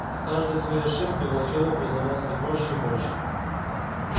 с каждой своей ошибкой волчонок узнавал всё больше и больше